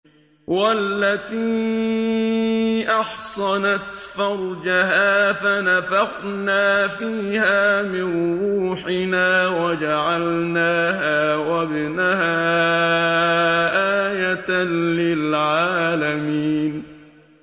وَالَّتِي أَحْصَنَتْ فَرْجَهَا فَنَفَخْنَا فِيهَا مِن رُّوحِنَا وَجَعَلْنَاهَا وَابْنَهَا آيَةً لِّلْعَالَمِينَ